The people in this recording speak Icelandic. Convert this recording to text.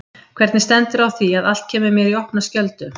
Hvernig stendur á því að allt kemur mér í opna skjöldu?